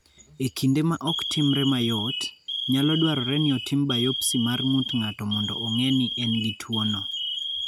E kinde ma ok timre mayot, nyalo dwarore ni otim biopsy mar ng�ut ng�ato mondo ong�e ni en gi tuo no.